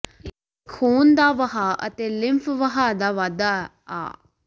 ਇਹ ਖੂਨ ਦਾ ਵਹਾਅ ਅਤੇ ਲਿੰਫ ਵਹਾਅ ਦਾ ਵਾਧਾ ਆ